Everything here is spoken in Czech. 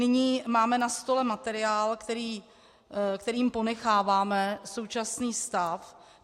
Nyní máme na stole materiál, kterým ponecháváme současný stav.